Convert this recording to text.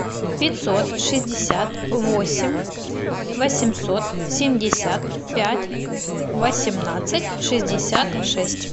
пятьсот шестьдесят восемь восемьсот семьдесят пять восемнадцать шестьдесят шесть